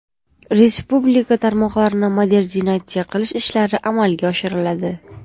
Respublika tarmoqlarini modernizatsiya qilish ishlari amalga oshiriladi.